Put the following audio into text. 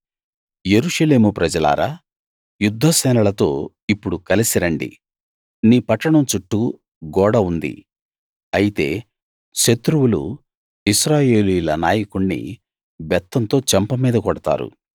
యెరూషలేము ప్రజలారా యుద్ధ సేనలతో ఇప్పుడు కలిసి రండి నీ పట్టణం చుట్టూ గోడ ఉంది అయితే శత్రువులు ఇశ్రాయేలీయుల నాయకుణ్ణి బెత్తంతో చెంప మీద కొడతారు